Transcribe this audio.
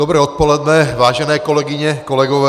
Dobré odpoledne, vážené kolegyně, kolegové.